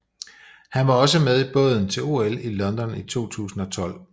Han var også med i båden til OL i London 2012